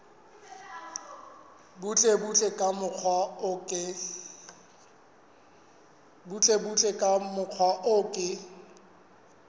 butlebutle ka mokgwa o ke